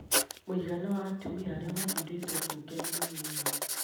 Mũigana wa atumia arĩa mathurĩtwo mbunge nĩ mũnini.